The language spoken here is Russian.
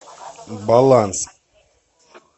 баланс